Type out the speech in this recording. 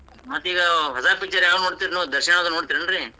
ಮತ್ತೀಗ ಹೊಸಾ picture ಯಾವ್ ನೋಡ್ತಿರಿ ನೀವ್ ದರ್ಶನದು ನೋಡ್ತೀರೇನ್ ರೀ.